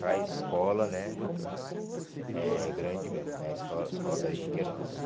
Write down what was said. Para escola, né, é grande mesmo, né, a escola escola Dari de Queiroz.